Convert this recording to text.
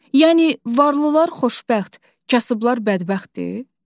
Yəni varlılar xoşbəxt, kasıblar bədbəxtdir?